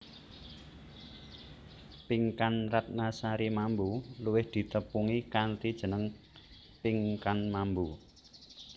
Pinkan Ratnasari Mambo luwih ditepungi kanthi jeneng Pinkan Mambo